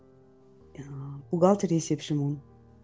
ыыы бухгалтер есепшімін